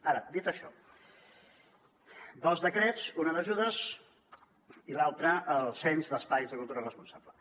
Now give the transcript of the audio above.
ara dit això dos decrets un d’ajudes i l’altre del cens d’espais de cultura responsables